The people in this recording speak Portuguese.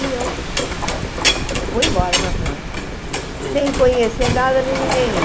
E eu fui embora para a França, Desculpa Sem conhecer nada nem ninguém.